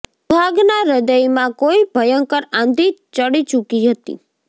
સુહાગના હ્રદયમાં કોઇ ભયંકર આંધિ ચડી ચૂકી હતી